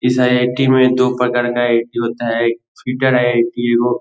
इस आई.आई.टी. में दो प्रकार का आई.आई.टी. होता है। एक सीटर आई.आई.टी. हो --